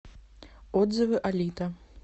отзывы алита